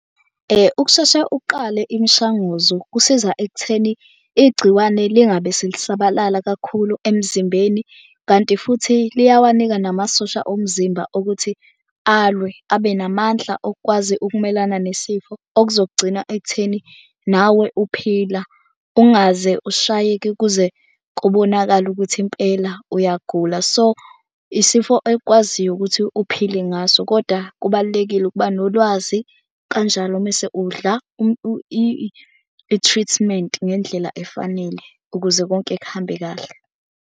Ukusheshe uqale imishanguzo kusiza ekutheni igciwane lingabe selisabalala kakhulu emzimbeni kanti futhi liyawanika namasosha omzimba ukuthi alwe abe namandla okukwazi ukumelana nesifo okuzogcina ekutheni nawe uphila. Ungaze ushayeke kuze kubonakale ukuthi impela uyagula, so isifo ekwaziyo ukuthi uphile ngaso. Kodwa kubalulekile ukuba nolwazi kanjalo mese udla i-treatment ngendlela efanele, ukuze konke kuhambe kahle.